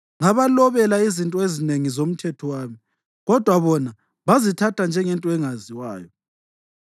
Ngabalobela izinto ezinengi zomthetho wami kodwa bona bazithatha njengento engaziwayo.